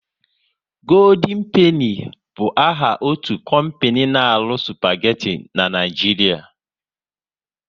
Goodien Peni bụ áhà otu kompani n'aru spageti n'Naijiria